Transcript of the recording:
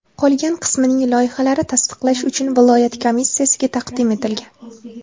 Qolgan qismining loyihalari tasdiqlash uchun viloyat komissiyasiga taqdim etilgan.